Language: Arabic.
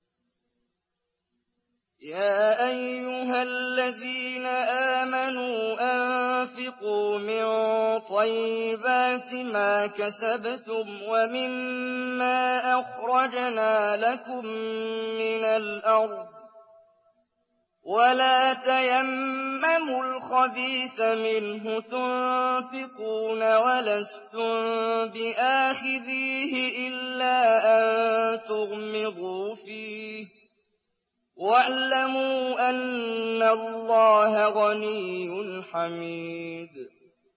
يَا أَيُّهَا الَّذِينَ آمَنُوا أَنفِقُوا مِن طَيِّبَاتِ مَا كَسَبْتُمْ وَمِمَّا أَخْرَجْنَا لَكُم مِّنَ الْأَرْضِ ۖ وَلَا تَيَمَّمُوا الْخَبِيثَ مِنْهُ تُنفِقُونَ وَلَسْتُم بِآخِذِيهِ إِلَّا أَن تُغْمِضُوا فِيهِ ۚ وَاعْلَمُوا أَنَّ اللَّهَ غَنِيٌّ حَمِيدٌ